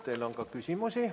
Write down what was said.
Teile on ka küsimusi.